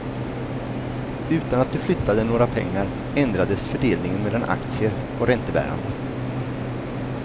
Utan att du flyttade några pengar ändrades fördelningen mellan aktier och räntebärande.